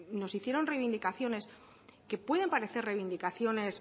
nos hicieron reivindicaciones que puede parecer reivindicaciones